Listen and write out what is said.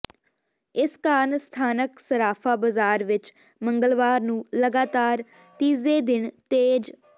ਇਸ ਕਾਰਨ ਸਥਾਨਕ ਸਰਾਫਾ ਬਾਜ਼ਾਰ ਵਿਚ ਮੰਗਲਵਾਰ ਨੂੰ ਲਗਾਤਾਰ ਤੀਜੇ ਦਿਨ ਤੇਜ਼